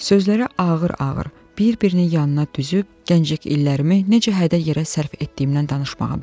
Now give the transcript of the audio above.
Sözlərə ağır-ağır, bir-birinin yanına düzüb gənclik illərimi necə hədər yerə sərf etdiyimdən danışmağa başladı.